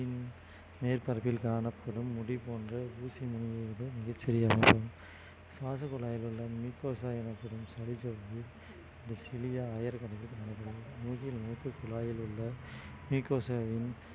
மேற்பரப்பில் காணப்படும் முடி போன்ற ஊசி நுனி மீது மிகச்சிறிய அளவில் சுவாச குழாயில் உள்ள mucosa அ எனப்படும் ஆயிரக்கணக்கில் மூக்கில் மூக்கு குழாயில் உள்ள mucosa வின்